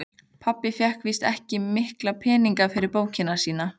Pabbi fékk víst ekki mikla peninga fyrir bókina sína.